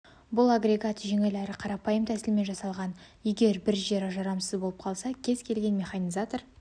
бұл агрегат жеңіл әрі қарапайым тәсілмен жасалған егер бір жері жарамсыз болып қалса кез келген механизатор